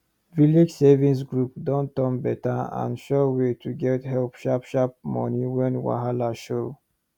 village savings group don turn better and sure way to get sharp sharp money when wahala show